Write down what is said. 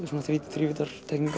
svona